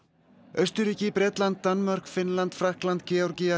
Austurríki Bretland Danmörk Finnland Frakkland Georgía